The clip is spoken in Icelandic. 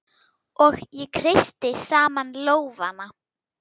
Og ég kreisti saman lófana.